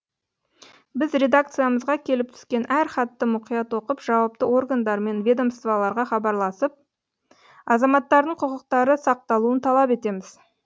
біз редакциямызға келіп түскен әр хатты мұқият оқып жауапты органдар мен ведомстволарға хабарласып азаматтардың құқықтары сақталуын талап етеміз